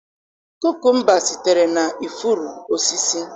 Kukumba sitere na ifuru osisi.